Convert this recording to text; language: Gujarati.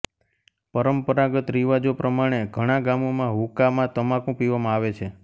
પરંપરાગત રીવાજો પ્રમાણે ઘણા ગામોમાં હૂકામાં તમાકુ પીવામાં આવે છે